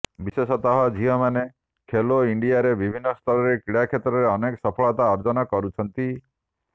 ବିଶେଷତଃ ଝିଅମାନେ ଖେଲୋ ଇଣ୍ଡିଆରେ ବିଭିନ୍ନ ସ୍ତରରେ କ୍ରୀଡା କ୍ଷେତ୍ରରେ ଅନେକ ସଫଳତା ଅର୍ଜନ କରୁଛନ୍ତି